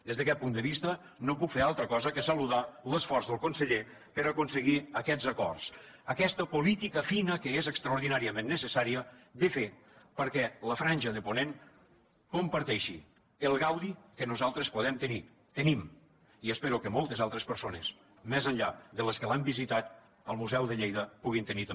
des d’aquest punt de vista no puc fer altra cosa que saludar l’esforç del conseller per a aconseguir aquests acords aquesta política fina que és extraordinàriament necessària fer perquè la franja de ponent comparteixi el gaudi que nosaltres podem tenir tenim i espero que moltes altres persones més enllà de les que l’han visitat el museu de lleida puguin tenir també